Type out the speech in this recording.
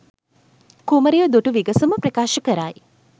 කුමරිය දුටු විගසම ප්‍රකාශ කරයි